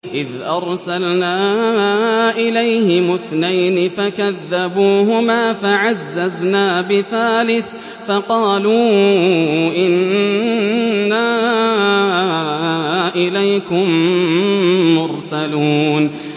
إِذْ أَرْسَلْنَا إِلَيْهِمُ اثْنَيْنِ فَكَذَّبُوهُمَا فَعَزَّزْنَا بِثَالِثٍ فَقَالُوا إِنَّا إِلَيْكُم مُّرْسَلُونَ